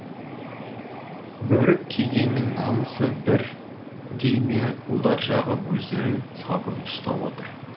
бөрік кигеннің намысы бір дей ме ұлдар жағы өздерің сабырлы ұстап отыр